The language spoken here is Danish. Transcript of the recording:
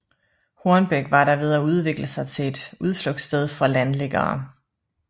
Hornbæk var da ved at udvikle sig til et udflugtssted for landliggere